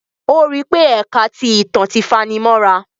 O ri pé ẹka ti ìtàn ti fanimọra